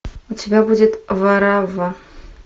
у тебя будет варавва